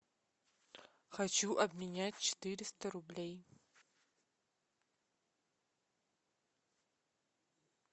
хочу обменять четыреста рублей